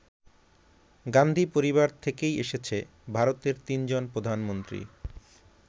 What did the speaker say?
গান্ধী পরিবার থেকেই এসেছে ভারতের তিনজন প্রধানমন্ত্রী।